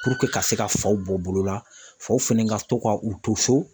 ka se ka faw bɔ bolo la faw fɛnɛ ka to ka u to so